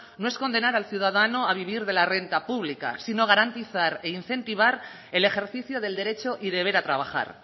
no es condenar al ciudadano a vivir de la renta pública sino garantizar e incentivar el ejercicio del derecho y deber a trabajar